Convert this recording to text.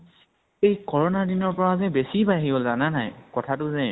এই corona দিনা ৰ পৰা যে বেছি বাঢ়ি গʼল, জানা নে নাই কথাতো যে ?